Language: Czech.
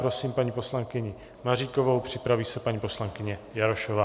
Prosím paní poslankyni Maříkovou, připraví se paní poslankyně Jarošová.